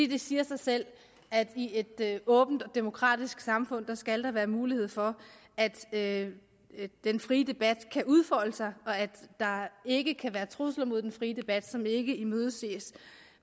det siger sig selv at i et åbent og demokratisk samfund skal der være mulighed for at den frie debat kan udfolde sig og at der ikke kan være trusler mod den frie debat som ikke imødeses